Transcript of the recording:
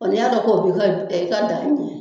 n'i y'a dɔn ko i ka danin mun